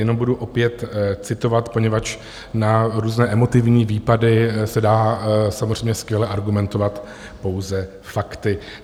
Jenom budu opět citovat, poněvadž na různé emotivní výpady se dá samozřejmě skvěle argumentovat pouze fakty.